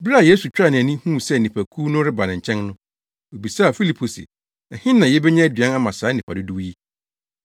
Bere a Yesu twaa nʼani, huu sɛ nnipakuw no reba ne nkyɛn no, obisaa Filipo se, “Ɛhe na yebenya aduan ama saa nnipa dodow yi?”